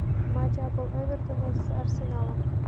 матч апл эвертона с арсеналом